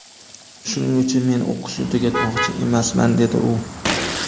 Shuning uchun men o‘qishni tugatmoqchi emasman”, dedi u.